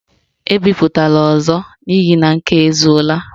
Ebipụtala ọzọ n' ihi na nke a ezuola!